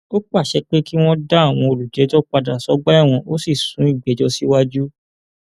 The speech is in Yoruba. ó pàṣẹ pé kí wọn dá àwọn olùjẹjọ padà sọgbà ẹwọn ó sì sún ìgbẹjọ síwájú